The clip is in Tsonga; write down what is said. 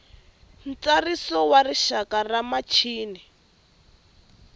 ntsariso wa rixaka wa michini